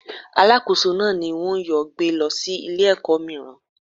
Alákóso náà ni wón yóò gbé lọ sí ilé ẹ̀kọ́ míràn.